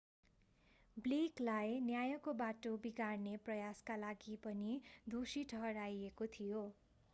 blake लाई न्यायको बाटो बिगार्ने प्रयासका लागि पनि दोषी ठहराइएको थियो